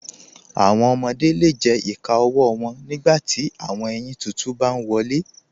Awọn ọmọde le jẹ ìkà ọwọ wọn nígbàtí awọn èyin títún bá n wọlé.